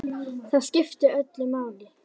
Það skiptir öllu máli.